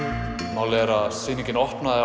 málið er að sýningin opnaði